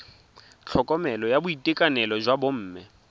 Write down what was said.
tlhokomelo ya boitekanelo jwa bomme